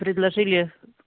предложили